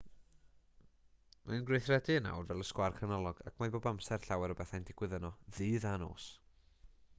mae'n gweithredu yn awr fel y sgwâr canolog ac mae bob amser llawer o bethau'n digwydd yno ddydd a nos